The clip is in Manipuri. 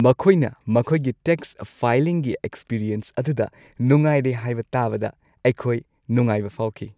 ꯃꯈꯣꯏꯅ ꯃꯈꯣꯏꯒꯤ ꯇꯦꯛꯁ ꯐꯥꯏꯂꯤꯡꯒꯤ ꯑꯦꯛꯁꯄꯤꯔꯤꯑꯦꯟꯁ ꯑꯗꯨꯗ ꯅꯨꯡꯉꯥꯏꯔꯦ ꯍꯥꯏꯕ ꯇꯥꯕꯗ ꯑꯩꯈꯣꯏ ꯅꯨꯡꯉꯥꯏꯕ ꯐꯥꯎꯈꯤ꯫